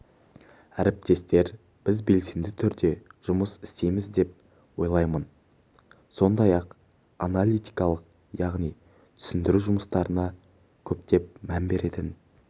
әріптестер біз белсенді түрде жұмыс істейміз деп ойлаймын сондай-ақ аналитикалық яғни түсіндіру жұмыстарына көптеп мән беретін